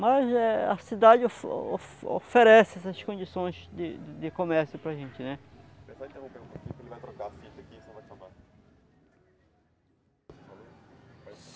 Mas é a cidade o o oferece essas condições de de de comércio para gente, né? Deixa eu só interromper um pouquinho que ele vai trocar a fita aqui se não vai travar.